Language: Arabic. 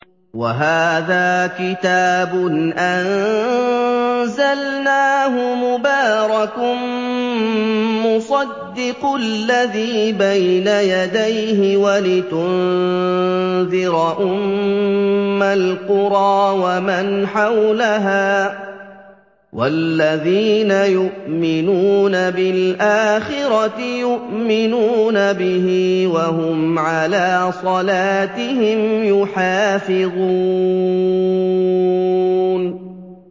وَهَٰذَا كِتَابٌ أَنزَلْنَاهُ مُبَارَكٌ مُّصَدِّقُ الَّذِي بَيْنَ يَدَيْهِ وَلِتُنذِرَ أُمَّ الْقُرَىٰ وَمَنْ حَوْلَهَا ۚ وَالَّذِينَ يُؤْمِنُونَ بِالْآخِرَةِ يُؤْمِنُونَ بِهِ ۖ وَهُمْ عَلَىٰ صَلَاتِهِمْ يُحَافِظُونَ